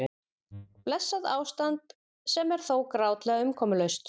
Blessað ástand sem er þó grátlega umkomulaust.